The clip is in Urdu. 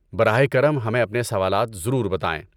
براہ کرم، ہمیں اپنے سوالات ضرور بتائیں۔